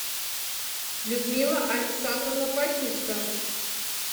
людмила александровна патютько